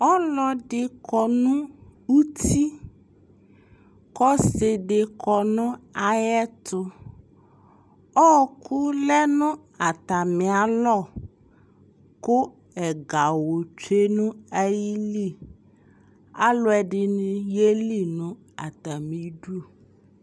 Ɔsɩ dɩ kɔ nʋ uti k'ɔsɩ dɩ kɔ nʋ ayɛtʋ Ɔɔkʋ lɛ nʋ atamialɔ kʋ ɛgawʋ tsue nʋ ayili, alʋɛdɩnɩ yeli nʋ atamidʋ